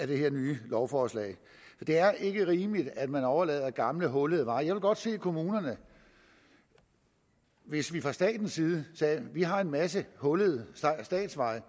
det her nye lovforslag det er ikke rimeligt at man overdrager gamle hullede veje jeg ville godt se kommunerne hvis vi fra statens side sagde vi har en masse hullede statsveje